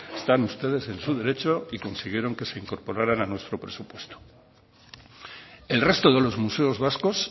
están ustedes en su derecho y consiguieron que se incorporaran a nuestro presupuesto el resto de los museos vascos